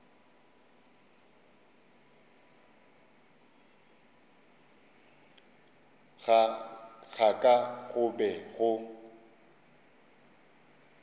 ga ka go be go